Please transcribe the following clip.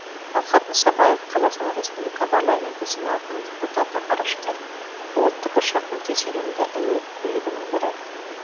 талғат мұсабаев қазақстан республика парламенті сенатының депутаты ғарышкер бұл тікұшақ өте сенімді әуе көлігінің бірі